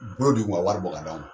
Bolo du i kun ka wari bɔ k'a d'a ma